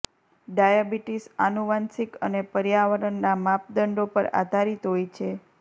diabetes આનુવાંશિક અને પર્યાવરણના માપદંડો પર આધારિત હોય છે